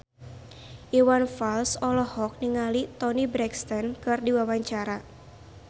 Iwan Fals olohok ningali Toni Brexton keur diwawancara